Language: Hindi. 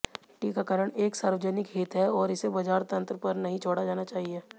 टीकाकरण एक सार्वजनिक हित है और इसे बाजार तंत्र पर नहीं छोड़ा जाना चाहिए